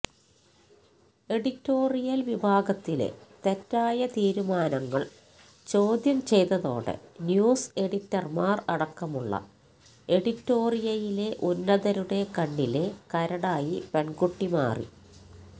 editorial വിഭാഗത്തിലെ തെറ്റായ തീരുമാനങ്ങൾ ചോദ്യം ചെയ്തതോടെ ന്യൂസ് എഡിറ്റർമാർ അടക്കമുള്ള എഡിറ്റോറിയലിലെ ഉന്നതരുടെ കണ്ണിലെ കരടായി പെൺകുട്ടി മാറി